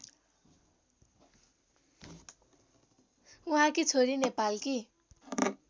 उहाँकी छोरी नेपालकी